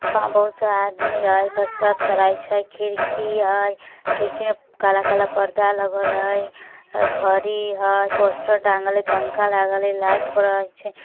बहुत सारा आदमी हई कसरत कराई छेह खिड़की हई खिड़की में काला-काला पर्दा लगाल हई घड़ी हई पोस्टर टांगल हई पंखा लागल हई लाइट बड़ी छे।